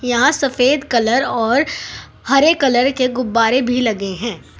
यहां सफेद कलर और हरे कलर के गुब्बारे भी लगे हैं।